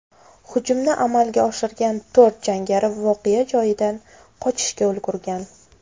Hujumni amalga oshirgan to‘rt jangari voqea joyidan qochishga ulgurgan.